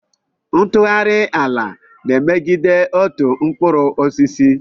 Ntughari ala na-emegide otu mkpụrụ osisi.